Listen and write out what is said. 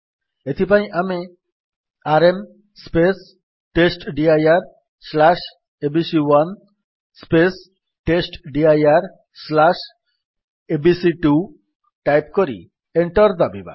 ଏଥିପାଇଁ ଆମେ ଆରଏମ୍ testdirଏବିସି1 testdirଏବିସି2 ଟାଇପ୍ କରି ଏଣ୍ଟର୍ ଦାବିବା